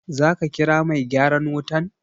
Za ka kira mai gyaran wutan?